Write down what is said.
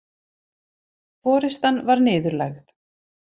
Forystan var niðurlægð